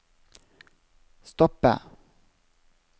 stoppe